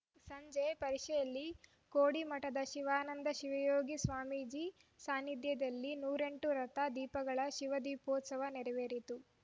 ಸಂಜೆ ಪರಿಷೆಯಲ್ಲಿ ಕೋಡಿಮಠದ ಶಿವಾನಂದ ಶಿವಯೋಗಿ ಸ್ವಾಮೀಜಿ ಸಾನ್ನಿಧ್ಯದಲ್ಲಿ ನೂರೆಂಟು ರಥ ದೀಪಗಳ ಶಿವದೀಪೋತ್ಸವ ನೆರವೇರಿತು